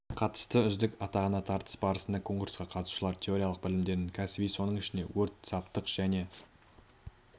қатысты үздік атағына тартыс барысында конкурсқа қатысушылар теориялық білімдерін кәсіби соның ішінде өрт саптық және